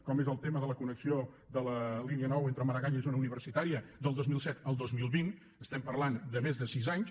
com és el tema de la connexió de la línia nou entre maragall i zona universitària del dos mil disset al dos mil vint estem parlant de més de sis anys